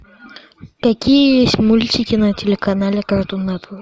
какие есть мультики на телеканале картун нетворк